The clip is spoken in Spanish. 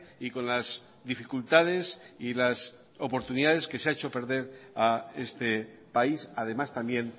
y con las dificultades y las oportunidades que se ha hecho perder a este país además también